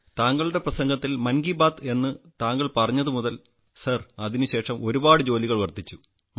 താങ്കൾ എന്നെക്കുറിച്ച് മൻ കി ബാത്ത്ൽ പറഞ്ഞതു മുതൽ സർ എന്റെ ജോലി വളരെയധികം വർദ്ധിച്ചു